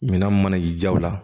Minan mana y'i jaw la